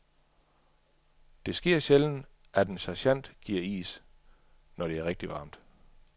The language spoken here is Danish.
Det sker sjældent, at en sergent giver is, når det er rigtigt varmt.